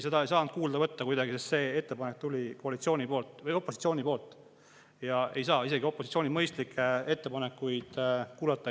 Seda ei saanud kuidagi kuulda võtta, sest see ettepanek tuli opositsioonilt ja isegi opositsiooni mõistlikke ettepanekuid ei saa kuulata.